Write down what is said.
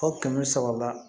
O kɛmɛ saba